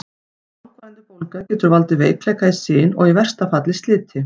Langvarandi bólga getur valdið veikleika í sin og í versta falli sliti.